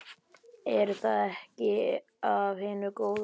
Er það ekki af hinu góða?